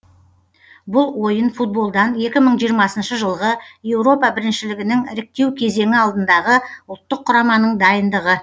бұл ойын футболдан екі мың жиырмасыншы жылғы еуропа біріншілігінің іріктеу кезеңі алдындағы ұлттық құраманың дайындығы